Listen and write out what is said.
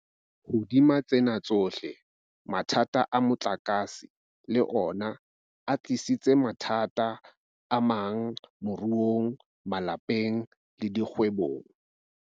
Hodima tsena tsohle, mathata a motlakase le ona a tlisitse mathata amang moruong, malapeng le dikgwebong.